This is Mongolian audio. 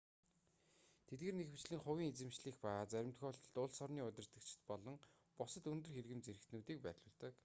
тэдгээр нь ихэвчлэн хувийн эзэмшлийнх ба зарим тохиолдолд улс орны удирдагчид болон бусад өндөр хэргэм зэрэгтнүүдийг байрлуулдаг